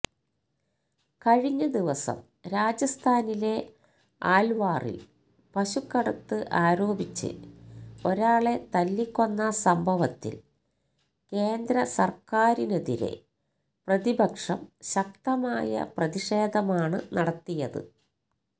കഴിഞ്ഞ ദിവസം രാജസ്ഥാനിലെ ആല്വാറില് പശുക്കടത്ത് ആരോപിച്ച് ഒരാളെ തല്ലിക്കൊന്ന സംഭവത്തില് കേന്ദ്ര സര്ക്കാരിനെതിരെ പ്രതിപക്ഷം ശക്തമായ പ്രതിഷേധമാണ് നടത്തിയത്